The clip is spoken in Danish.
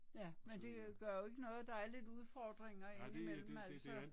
Ja men det gør jo ikke noget der er lidt udfordringer indimellem altså